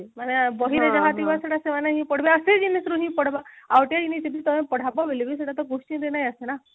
ମାନେ ବହିରେ ଯାହା ଥିବ ସେଇଟା ସେମାନେ ହି ପଢବେ ଆଉ ସେ ଜିନିଷରୁ ହି ପଢବେ ଆଉ ଟିକେ ଯଦି ତମେ ପଢାବ ବୋଲି ବି ସେଇଟା ତ question ରେ ନାଇଁ ଆସେ ନା